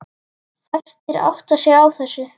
Fæstir átta sig á þessu.